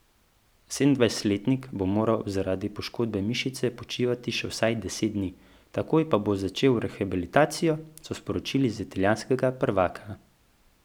Sedemindvajsetletnik bo moral zaradi poškodbe mišice počivati še vsaj deset dni, takoj pa bo začel rehabilitacijo, so sporočili iz italijanskega prvaka.